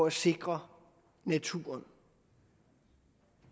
at sikre naturen